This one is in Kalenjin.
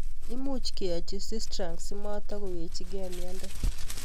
Much keyochi Sistrunk si matakowekechikei miondo